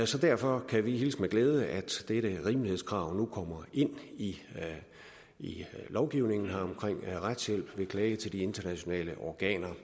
så derfor kan vi hilse med glæde at dette rimelighedskrav nu kommer ind i lovgivningen her om retshjælp ved klage til de internationale organer